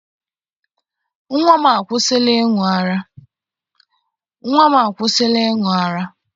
Nnwa m akwụsịla ịṅụ ara